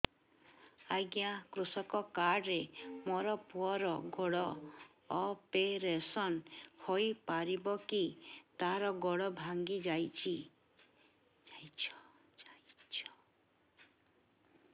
ଅଜ୍ଞା କୃଷକ କାର୍ଡ ରେ ମୋର ପୁଅର ଗୋଡ ଅପେରସନ ହୋଇପାରିବ କି ତାର ଗୋଡ ଭାଙ୍ଗି ଯାଇଛ